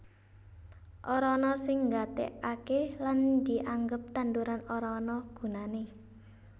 Ora ana sing nggatekake lan dianggep tanduran ora ana gunane